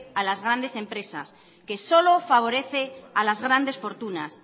a las grandes empresas que solo favorece a las grandes fortunas